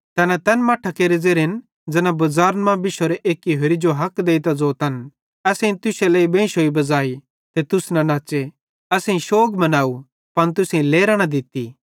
तैना तैन मट्ठां केरे ज़ेरेन ज़ैना बज़ारे मां बिशोरां एक्की होरि जो हक देइतां ज़ोतन असेईं तुश्शे लेइ बेंशोई बज़ाइ ते तुस न नच़्च़े असेईं शौग मनाव पन तुसेईं लेरां न दित्ती